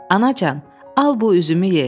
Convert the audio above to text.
Anacan, al bu üzümü ye.